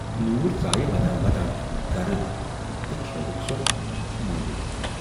نوٗر ژایہِ ودان ودان تِہُند گرٕ تہٕ کھیاوٕکھ سۅ مایِر۔